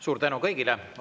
Suur tänu kõigile!